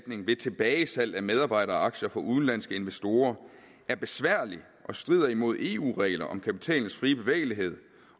ved tilbagesalg af medarbejderaktier for udenlandske investorer er besværlig og strider imod eu regler om kapitalens frie bevægelighed